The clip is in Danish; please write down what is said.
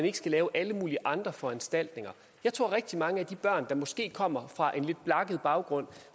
ikke skal lave alle mulige andre foranstaltninger jeg tror at rigtig mange af de børn der måske kommer fra en lidt blakket baggrund